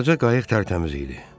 Balaca qayıq tərtəmiz idi.